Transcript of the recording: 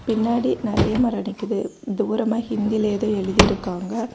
பின்னாடி நறைய மரம் நிக்குது. தூரமா ஹிந்தில ஏதோ எழுதிருக்காங்க.